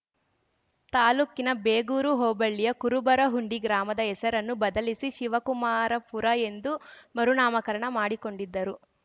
ತಾಲೂಕಿನ ಬೇಗೂರು ಹೋಬಳಿಯ ಕುರುಬರಹುಂಡಿ ಗ್ರಾಮದ ಹೆಸರನ್ನು ಬದಲಿಸಿ ಶಿವಕುಮಾರಪುರ ಎಂದು ಮರು ನಾಮಕರಣ ಮಾಡಿಕೊಂಡಿದ್ದರು